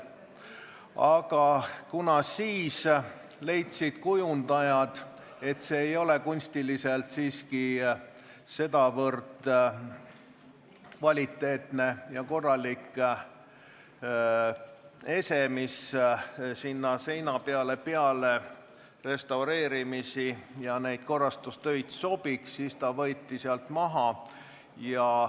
Aga kuna kujundajad leidsid, et see ei ole kunstilises mõttes siiski nii kvaliteetne ja korralik ese, et see sinna seina peale pärast neid korrastustöid sobiks, siis ta võeti sealt maha.